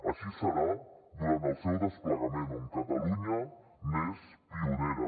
així serà durant el seu desplegament on catalunya n’és pionera